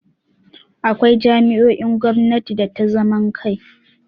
Akwai jami'o'in gwamnati da ta zaman kai.